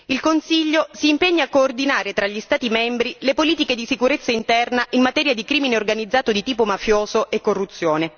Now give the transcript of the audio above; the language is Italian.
il Consiglio si impegni a coordinare tra gli Stati membri le politiche di sicurezza interna in materia di crimine organizzato di tipo mafioso e corruzione.